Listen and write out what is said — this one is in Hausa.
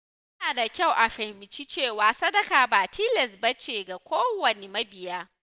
Yana da kyau a fahimci cewa sadaka ba tilas ba ce ga kowane mabiya.